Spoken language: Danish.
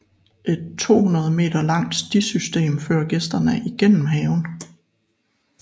Et 200 meter langt stisystem fører gæsterne igennem haven